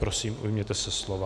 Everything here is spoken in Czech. Prosím, ujměte se slova.